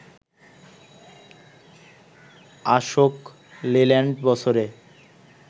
আশোক লেল্যান্ড বছরে